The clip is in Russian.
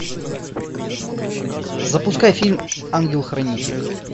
запускай фильм ангел хранитель